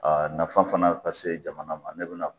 nafa fana ka se jamana ma, ne bina